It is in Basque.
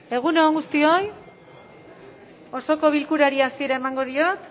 egun on guztioi osoko bilkurari hasiera emango diot